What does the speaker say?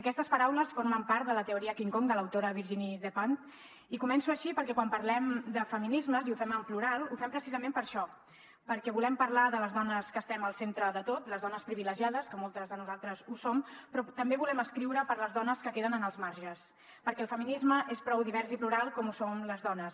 aquestes paraules formen part de la teoria king kong de l’autora virginie despentes i començo així perquè quan parlem de feminismes i ho fem en plural ho fem precisament per això perquè volem parlar de les dones que estem al centre de tot les dones privilegiades que moltes de nosaltres ho som però també volem escriure per a les dones que queden en els marges perquè el feminisme és prou divers i plural com ho som les dones